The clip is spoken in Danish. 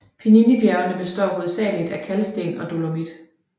Pieninybjergene består hovedsageligt af kalksten og dolomit